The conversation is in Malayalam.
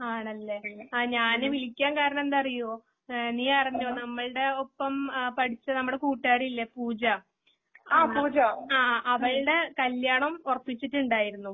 ആണല്ലേ ഞാൻ വിളിക്കാൻ കാരണം എന്താന്നറിയോ? നീയറിഞ്ഞോ നമ്മൾടെ ഒപ്പം ആ പഠിച്ച നമ്മുടെ കുട്ടുകാരിയില്ലേ പൂജ . അ ആ അവളുടെ കല്യാണം ഉറപ്പിച്ചിട്ടുണ്ടായിരുന്നു.